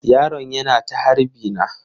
Yaron yana ta harbi na.